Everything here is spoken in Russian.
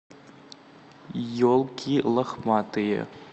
елки лохматые